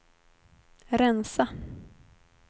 rensa